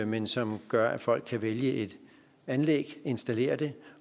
men som gør at folk kan vælge et anlæg installere det